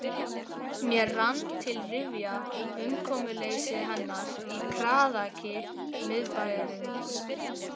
Mér rann til rifja umkomuleysi hennar í kraðaki miðbæjarins.